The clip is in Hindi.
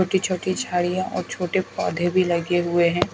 छोटी छोटी झाड़ियां और छोटे पौधे भी लगे हुए है।